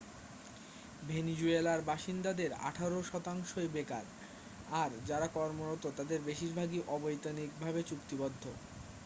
ভেনিজুয়েলার বাসিন্দাদের আঠারো শতাংশই বেকার আর যারা কর্মরত তাদের বেশিরভাগই অবৈতনিক ভাবে চুক্তিবদ্ধ